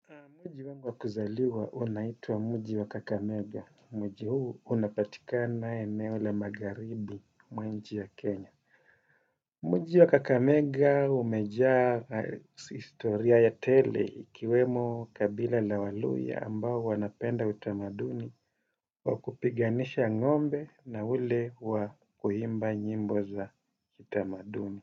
Mji wangu wa kuzaliwa unaitwa mji wa Kakamega. Mji huu unapatikana eneo la magharibi mwa nchi ya Kenya. Mji wa Kakamega umejaa historia ya tele ikiwemo kabila la waluhya ambao wanapenda utamaduni wa kupiganisha ngombe na ule wa kuimba nyimbo za utamaduni.